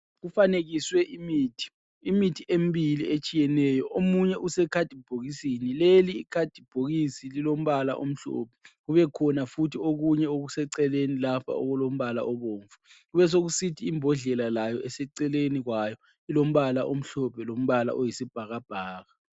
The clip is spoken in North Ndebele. Kufanekiswe imithi. Imithi emibili etshiyeneyo omunye usekhadibhokisini. Leli ikhadibhokisi lilombala omhlophe kubekhona futhi okunye okuseceleni lapha okulombala obomvu. Kubesekusithi imbodlela layo eseceleni kwayo ilombala omhlophe lombala oyisibhakabhaka.